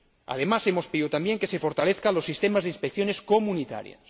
Además, hemos pedido también que se fortalezcan los sistemas de inspecciones comunitarios.